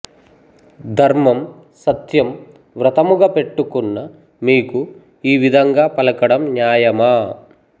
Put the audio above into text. ధర్మం సత్యం వ్రతముగా పెట్టుకున్న మీకు ఈ విధంగా పలకడం న్యాయమా